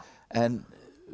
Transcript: en